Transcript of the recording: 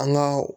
An ka